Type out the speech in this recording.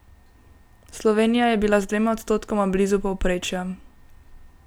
Slovenija je bila z dvema odstotkoma blizu povprečja.